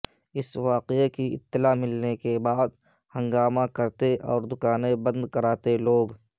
اس واقعہ کی اطلاع ملنے کے بعد ہنگامہ کرتے اور دکانیں بند کراتے لوگ